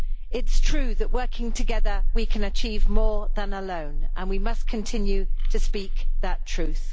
It is true that working together we can achieve more than alone and we must continue to speak that truth.